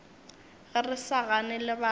ge re sa gane lebaka